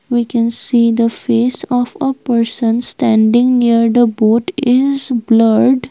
We can see the face of a person standing near the boat is blurred.